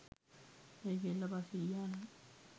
ඒ කෙල්ල පස්සේ ගියා නම්